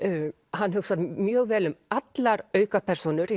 hann hugsar mjög vel um allar aukapersónur